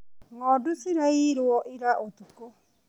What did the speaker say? Ngondu ciraiirwo ira ũtukũ.